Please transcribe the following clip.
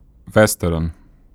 Vestern.